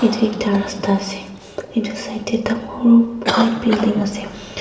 edu ekta rasta ase edu side tae dangor white building ase emm.